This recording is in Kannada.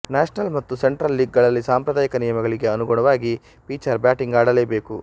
ನ್ಯಾಷನಲ್ ಮತ್ತು ಸೆಂಟ್ರಲ್ ಲೀಗ್ ಗಳಲ್ಲಿ ಸಾಂಪ್ರದಾಯಿಕ ನಿಯಮಗಳಿಗೆ ಅನುಗುಣವಾಗಿ ಪಿಚರ್ ಬ್ಯಾಟಿಂಗ್ ಆಡಲೇಬೇಕು